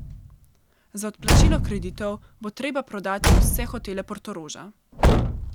Za odplačilo kreditov bo treba prodati vse hotele Portoroža.